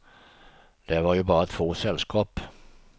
Där var ju bara två sällskap.